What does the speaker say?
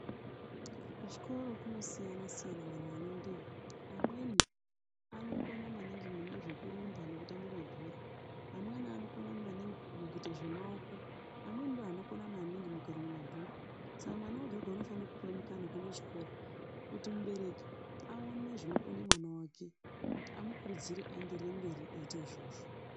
Kuchikora kunosiyana siyana vantu vanoendayo vamweni vanokona maningi zvekurumba nekutamba mabhora vamweni vanokona mune zvemaoko vamweni ndovanokona maningi mumabhuku Saka mwana wega wega unofana kupuwa mukana wekuenda kuchikora kuti mubereki aone zvinoita mwana wake amukurudzire aende mberi aiita izvozvo .